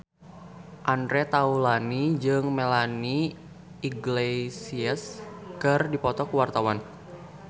Andre Taulany jeung Melanie Iglesias keur dipoto ku wartawan